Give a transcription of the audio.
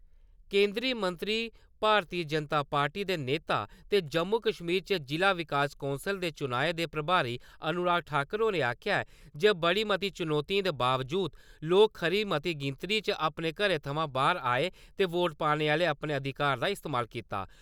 केन्द्रीय मंत्री , भारती जनता पार्टी दे नेता ते जम्मू-कश्मीर च जिला विकास कौंसल दे चुनाएं दे प्रभारी अनुराग ठाकुर होरें आक्खेआ जे बड़ी मती चुनौतिएं दे बावजूद लोक खरी मती गिनतरी च अपने घरें थमां बाह्र आए ते वोट पाने आह्ले अपने अधिकार दा इस्तमाल कीता ।